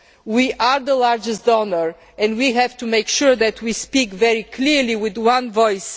We are the largest donor and have to make sure that we speak very clearly with one voice.